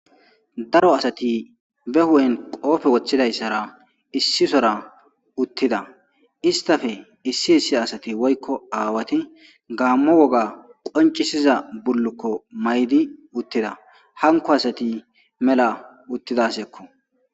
daro asati be hu7en qoofe woththidayssara issisora uttida istafe issi issi asati woykko aawati gaammo woga qoncisiza bullukko maydi uttida hanko asati mela uttidasekko